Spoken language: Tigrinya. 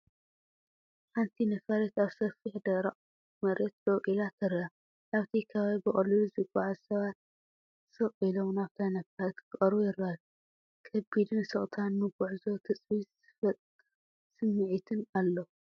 ሓንቲ ነፋሪት ኣብ ሰፊሕ ደረቕ መሬት ደው ኢላ ትርአ። ኣብቲ ከባቢ ብቐሊሉ ዝጓዓዙ ሰባት ስቕ ኢሎም ናብታ ነፋሪት ክቐርቡ ይረኣዩ። ከቢድ ስቕታን ንጉዕዞ ትጽቢት ዝፈጥር ስምዒትን ኣሎ።